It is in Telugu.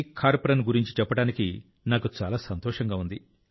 ఖార్ ప్రన్ గురించి చెప్పడానికి నాకు చాలా సంతోషంగా ఉంది